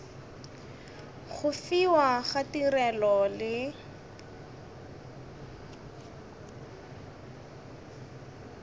go fiwa ga tirelo le